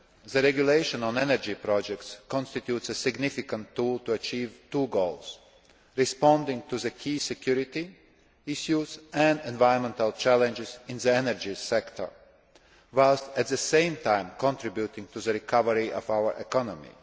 The regulation on energy projects constitutes a significant tool to achieve two goals responding to the key security issues and environmental challenges in the energy sector whilst at the same time contributing to the recovery of our economy.